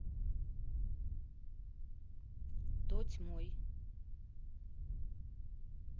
тотьмой